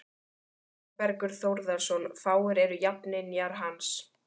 Þórbergur Þórðarson, fáir eru jafningjar hans.